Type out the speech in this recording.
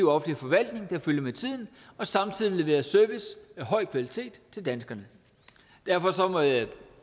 offentlig forvaltning der følger med tiden og samtidig leverer service af høj kvalitet til danskerne derfor må jeg